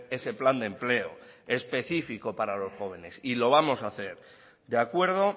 ese plan de empleo específico para los jóvenes y lo vamos a hacer de acuerdo